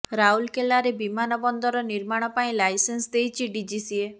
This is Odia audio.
ରାଉରକେଲାରେ ବିମାନ ବନ୍ଦର ନିର୍ମାଣ ପାଇଁ ଲାଇସେନ୍ସ ଦେଇଛି ଡିଜିସିଏ